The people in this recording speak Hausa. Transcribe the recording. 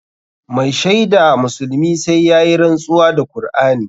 Mai shaida musulmi sai yayi rantsuwa da Kur'ani.